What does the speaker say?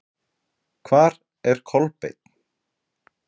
Hvar er Kolbeinn?